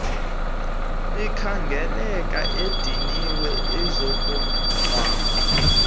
ekhangeleka ediniwe uzokungcwaba